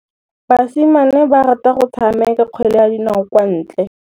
Basimane ba rata go tshameka kgwele ya dinaô kwa ntle.